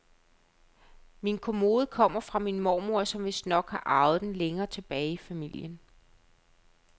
Min kommode kommer fra min mormor, som vistnok har arvet den længere tilbage i familien.